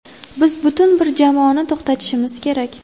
Biz butun bir jamoani to‘xtatishimiz kerak.